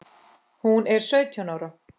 Hún er sautján ára.